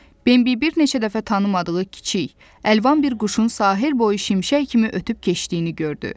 Bembi bir neçə dəfə tanımadığı kiçik, əlvan bir quşun sahil boyu şimşək kimi ötüb keçdiyini gördü.